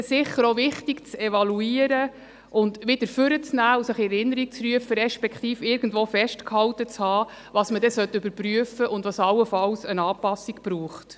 Dann wird es sicher wichtig sein, zu evaluieren und wieder hervorzuholen und sich in Erinnerung zu rufen, respektive irgendwo festgehalten zu haben, was überprüft werden sollte und was allenfalls einer Anpassung bedarf.